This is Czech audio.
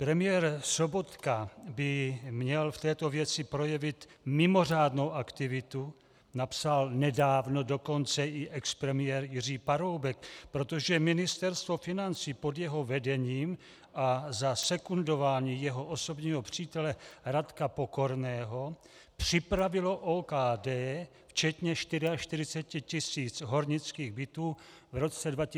Premiér Sobotka by měl v této věci projevit mimořádnou aktivitu, napsal nedávno dokonce i expremiér Jiří Paroubek, protože Ministerstvo financí pod jeho vedením a za sekundování jeho osobního přítele Radka Pokorného připravilo OKD včetně 44 tis. hornických bytů v roce 2004 k prodeji.